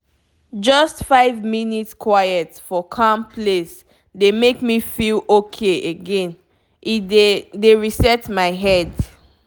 just five minute quiet for calm place dey make me feel okay again—e dey dey reset my head.